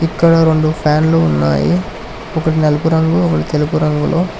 ఇక్కడ రెండు ఫ్యాన్లు ఉన్నాయి ఒకటి నలుపు రంగు ఒకటి తెలుపు రంగులో--